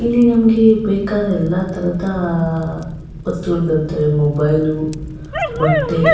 ಇಲ್ಲಿ ನಮ್ಗೆ ಬೇಕಾದ ಎಲ್ಲ ತರದ ಅಹ್ ಅಹ್ ವಸ್ತುಗಳು ದೊರೆತವೆ ಮೊಬೈಲು ಬಟ್ಟೆ.